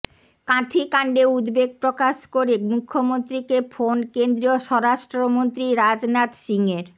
কাঁথিকাণ্ডে উদ্বেগ প্রকাশ করে মুখ্যমন্ত্রীকে ফোন কেন্দ্রীয় স্বরাষ্ট্রমন্ত্রী রাজনাথ সিংয়ের